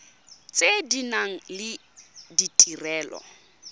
tse di nang le ditirelo